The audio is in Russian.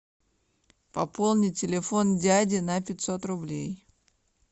пополни телефон дяди на пятьсот рублей